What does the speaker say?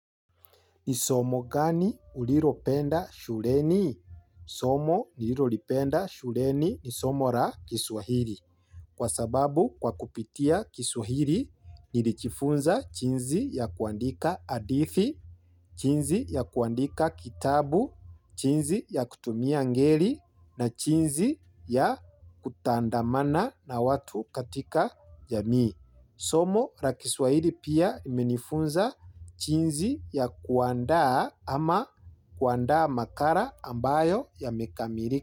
Ni somo gani uliropenda shureni? Somo nilirolipenda shureni ni somo ra kiswahiri. Kwa sababu kwa kupitia kiswahili, nilijifunza jinsi ya kuandika hadithi, jinsi ya kuandika kitabu, jinsi ya kutumia ngeli na jinsi ya kutandamana na watu katika jamii. Somo la kiswahili pia imenifunza jinsi ya kuandaa ama kuandaa makala ambayo yamekamilika.